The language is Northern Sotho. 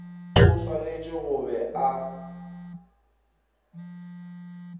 o swanetše go be a